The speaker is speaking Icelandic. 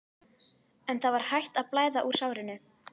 En það var hætt að blæða úr sárinu.